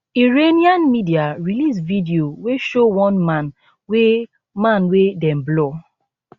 iranian media release video wey show one man wey man wey dem blur